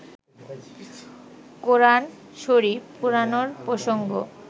কোরআন শরিফ পোড়ানোর প্রসঙ্গ